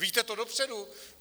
Víte to dopředu?